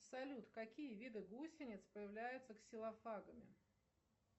салют какие виды гусениц появляются кселофагами